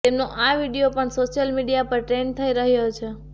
તેમનો આ વીડિયો પણ સોશિયલ મીડિયા પર ટ્રેન્ડ થઇ રહ્યો છે